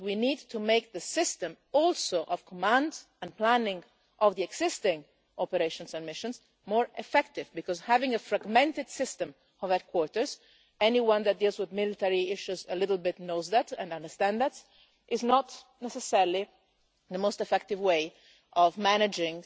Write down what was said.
It is that we need to make the system of command and planning of the existing operations and missions more effective because having a fragmented system of headquarters as anyone who deals with military issues a little bit knows and understands is not necessarily the most effective way of managing